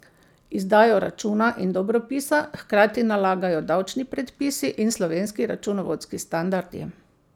Izdajo računa in dobropisa hkrati nalagajo davčni predpisi in slovenski računovodski standardi.